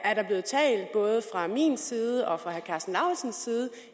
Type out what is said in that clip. er der blevet talt både fra min side og fra herre karsten lauritzens side